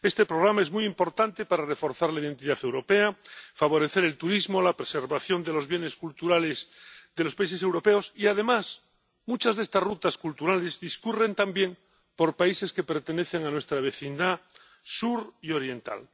Este programa es muy importante para reforzar la identidad europea, favorecer el turismo, la preservación de los bienes culturales de los países europeos y, además, muchas de estas Rutas Culturales discurren también por países que pertenecen a nuestra vecindad sur y oriental.